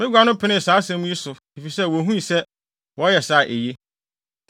Bagua no penee saa asɛm yi so efisɛ wohuu sɛ, wɔyɛ saa a, eye.